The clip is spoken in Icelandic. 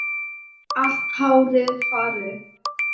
Allt hárið farið.